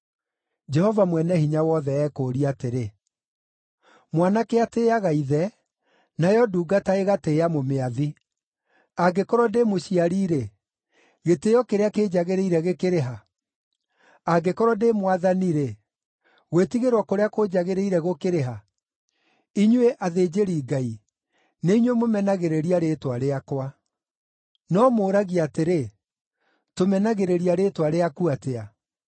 Jehova Mwene-Hinya-Wothe ekũũria atĩrĩ, “Mwanake atĩĩaga ithe, nayo ndungata ĩgatĩĩa mũmĩathi. Angĩkorwo ndĩ mũciari-rĩ, gĩtĩĩo kĩrĩa kĩnjagĩrĩire gĩkĩrĩ ha? Angĩkorwo ndĩ mwathani-rĩ, gwĩtigĩrwo kũrĩa kũnjagĩrĩire gũkĩrĩ ha? Inyuĩ, athĩnjĩri-Ngai, nĩinyuĩ mũmenagĩrĩria rĩĩtwa rĩakwa. “No mũũragia atĩrĩ, ‘Tũmenagĩrĩria rĩĩtwa rĩaku atĩa?’